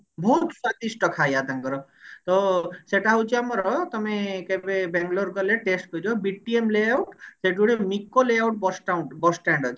ବହୁତ ସ୍ଵାଦିଷ୍ଟ ଖାଇବା ତାଙ୍କର ତ ସେଟା ହଉଛି ଆମର ତମେ କେବେ ବେଙ୍ଗେଲୋରେ ଗଲେ test କରିବ BTM layout ସେଠି ଗୋଟେ ମିକୋ layout bus stand bus stand ଅଛି